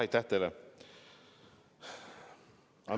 Aitäh teile!